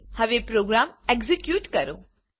હવે program execute કરો